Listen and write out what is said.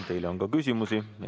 Teile on ka küsimusi.